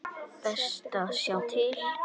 Best að sjá til.